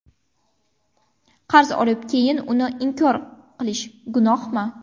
Qarz olib keyin uni inkor qilish gunohmi?.